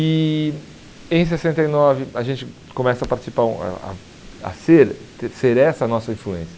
E em sessenta e nove a gente começa participar a a a ser ter ser essa a nossa influência.